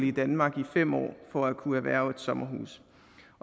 i danmark i fem år for at kunne erhverve et sommerhus